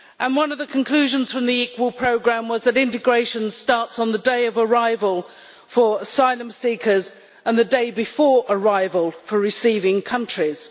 One of the conclusions from the Equal Programme was that integration starts on the day of arrival for asylum seekers, and the day before arrival for receiving countries.